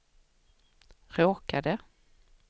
råkade